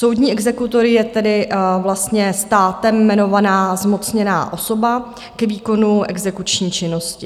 Soudní exekutor je tedy vlastně státem jmenovaná zmocněná osoba k výkonu exekuční činnosti.